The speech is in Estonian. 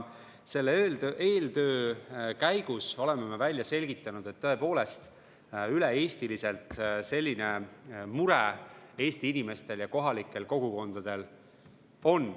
Selle eeltöö käigus oleme välja selgitanud, et tõepoolest üle-eestiliselt selline mure inimestel ja kohalikel kogukondadel on.